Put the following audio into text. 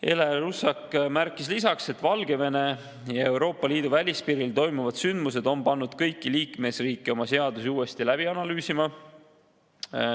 Ele Russak märkis lisaks, et Valgevene ja Euroopa Liidu välispiiril toimuvad sündmused on pannud kõiki liikmesriike oma seadusi uuesti läbi analüüsima.